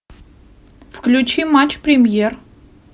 включи матч премьер